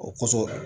O kosɔn